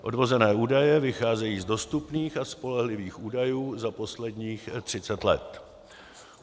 Odvozené údaje vycházejí z dostupných a spolehlivých údajů za posledních 30 let.